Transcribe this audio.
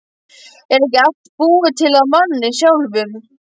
Er ekki allt búið til af manni sjálfum?